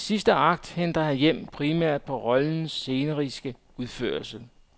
Den sidste akt henter han hjem primært på rollens sceniske udførelse.